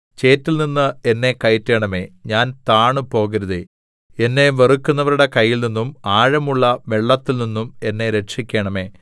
ചേറ്റിൽനിന്ന് എന്നെ കയറ്റണമേ ഞാൻ താണുപോകരുതേ എന്നെ വെറുക്കുന്നവരുടെ കയ്യിൽനിന്നും ആഴമുള്ള വെള്ളത്തിൽനിന്നും എന്നെ രക്ഷിക്കണമേ